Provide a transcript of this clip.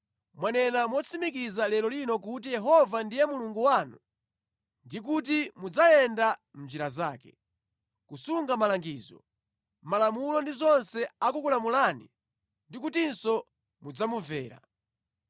Mwanena motsimikiza lero lino kuti Yehova ndiye Mulungu wanu ndi kuti mudzayenda mʼnjira zake, kusunga malangizo, malamulo ndi zonse akukulamulani ndi kutinso mudzamumvera.